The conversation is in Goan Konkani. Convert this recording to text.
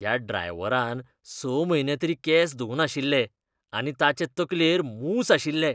त्या ड्रायव्हरान स म्हयने तरी केंस धुंवनाशिल्ले आनी ताचे तकलेर मूस आशिल्ले.